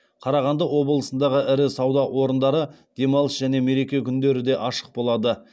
қарағанды облысындағы ірі сауда орындары демалыс және мереке күндері де ашық болады